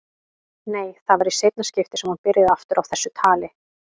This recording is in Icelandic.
Nei, það var í seinna skiptið sem hún byrjaði aftur á þessu tali.